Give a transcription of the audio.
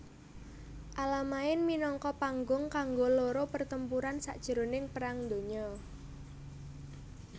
Alamain minangka panggung kanggo loro pertempuran sajroning Perang Donya